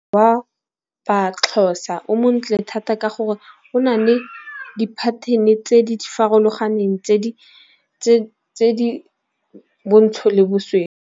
Wa ba-Xhosa o montle thata ka gore o na le di-pattern-e tse di farologaneng tse di bontsho le .